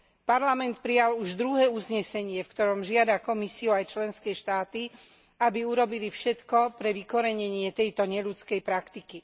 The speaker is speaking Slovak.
Parlament prijal už druhé uznesenie, v ktorom žiada Komisiu aj členské štáty, aby urobili všetko pre vykorenenie tejto neľudskej praktiky.